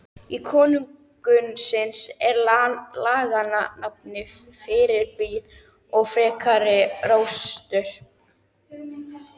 Í konungsins og laganna nafni fyrirbýð ég frekari róstur!